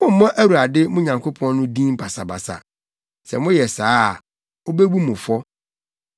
Mommmɔ Awurade, mo Nyankopɔn no, din basabasa. Sɛ moyɛ saa a, obebu mo fɔ.